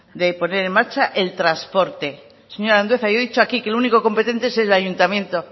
de poner en marcha el transporte señor andueza yo he dicho aquí que el único competente es el ayuntamiento